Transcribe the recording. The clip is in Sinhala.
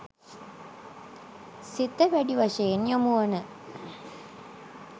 සිත වැඩි වශයෙන් යොමුවන